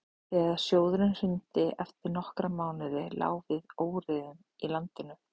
þegar sjóðurinn hrundi eftir nokkra mánuði lá við óeirðum í landinu